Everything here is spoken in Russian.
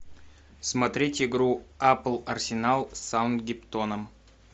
смотреть игру апл арсенал с саутгемптоном